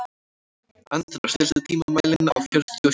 Andrá, stilltu tímamælinn á fjörutíu og sjö mínútur.